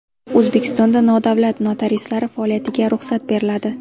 O‘zbekistonda nodavlat notariuslar faoliyatiga ruxsat beriladi.